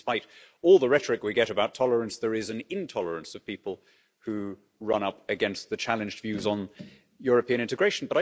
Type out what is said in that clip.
Despite all the rhetoric we get about tolerance, there is an intolerance of people who run up against the challenged views on European integration.